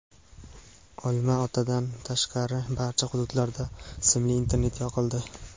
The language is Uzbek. Olma-otadan tashqari barcha hududlarda simli internet yoqildi.